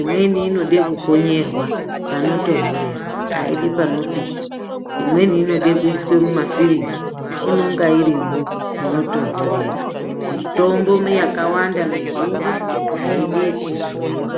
imweni inode kukonyerwa panotondorera aidi panopisha , imweni inoda kuiswa mumafiriji inoda kunge irimo munotonhorera . Mitombo yakawanda mizhinji aidi zuva .